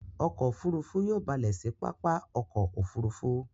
Ọkọ̀ òfurufú yóò balè sí pápá ọkọ̀ òfurufú.